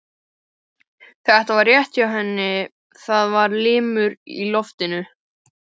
Þetta var rétt hjá henni, það var ilmur í loftinu.